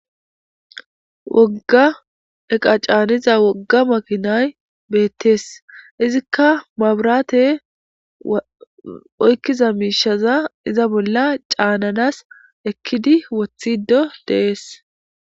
Wogga eqa caaniza wogga makinay beettees izikka mabraate oykkiza miishaza iza bolla caananas ekkidi wothido dees.